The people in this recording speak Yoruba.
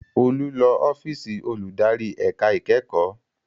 Olú lọ ọ́fíìsì olùdarí ẹ̀ka ìkẹ́kọ̀ọ́